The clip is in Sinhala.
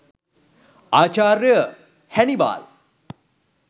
ආචාර්ය හැනිබාල්